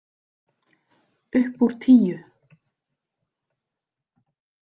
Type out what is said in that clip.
Upp úr tíu.